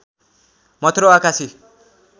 मथुरा वा काशी